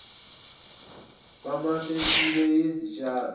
kwamasu empilo yezitshalo